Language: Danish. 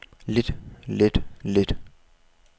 lidt lidt lidt